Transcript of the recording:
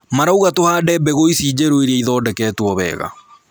Marauga tũhande mbegũ ici njerũ iria ithondeketwo wega